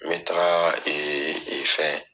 N be taga ee fɛn